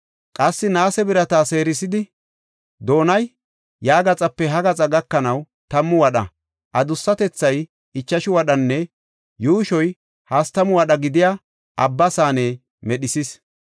Qassi naase birata seerisidi, doonay ya gaxape ha gaxaa gakanaw tammu wadha, adussatethay ichashu wadhanne yuushoy hastamu wadha gidiya Abba saane medhisis.